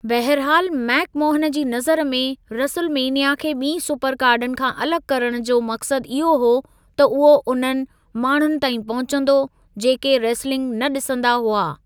बहिरहालु, मेक मोहनु जी नज़र में, रेसुल मेनिया खे ॿीं सुपर कार्डन खां अलॻि करणु जो मक़सदु इहो हो त उहो उन्हनि माण्हुनि ताईं पहुचंदो, जेके रेसलिंग न ॾिसंदा हुआ।